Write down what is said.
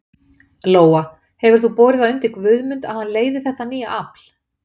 Lóa: Hefur þú borið það undir Guðmund að hann leiði þetta nýja afl?